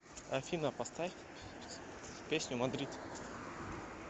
афина поставь песню мадрид